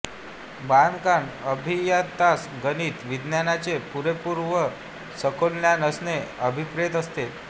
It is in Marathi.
बांधकाम अभियंत्यास गणित व विज्ञानाचे पुरेपूर व सखोल ज्ञान असणे अभिप्रेत असते